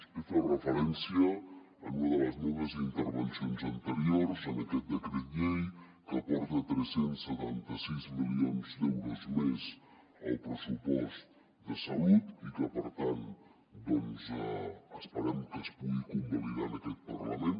he fet referència en una de les meves intervencions anteriors a aquest decret llei que aporta tres cents i setanta sis milions d’euros més al pressupost de salut i que per tant doncs esperem que es pugui convalidar en aquest parlament